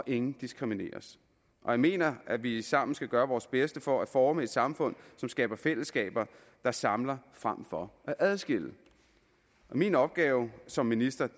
ingen diskrimineres jeg mener at vi sammen skal gøre vores bedste for at forme et samfund som skaber fællesskaber der samler frem for at adskille min opgave som minister